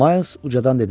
Mayls ucadan dedi.